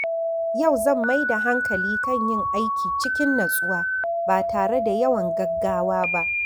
Yau zan mai da hankali kan yin aiki cikin natsuwa ba tare da yawan gaggawa ba.